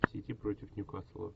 сити против ньюкасла